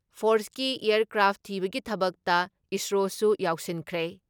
ꯐꯣꯔꯁꯀꯤ aircraft ꯊꯤꯕꯒꯤ ꯊꯕꯛꯇ ꯏꯁꯔꯣꯁꯨ ꯌꯥꯎꯁꯤꯟꯈ꯭ꯔꯦ ꯫